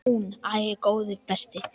Hún: Æi, góði besti.!